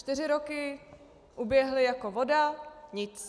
Čtyři roky uběhly jako voda - nic.